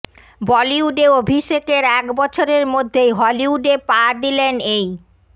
বলিউডে অভিষেকের এক বছরের মধ্যেই হলিউডে পা দিলেন এই